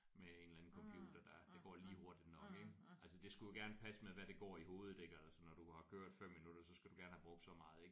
Med en eller anden computer der der går lige hurtigt nok ik altså det skulle jo gerne passe med hvad der går i hovedet ik altså når du har kørt 5 minutter så skulle du gerne have brugt så meget ik